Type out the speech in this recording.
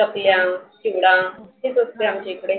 चकल्या, झिंगा हेच असतं आमच्या इकडे.